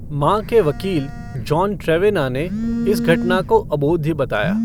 माँ के वकील, जॉन ट्रेवेना ने इस घटना को अबोध्य बताया।